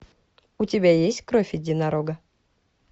у тебя есть кровь единорога